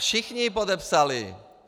Všichni ji podepsali.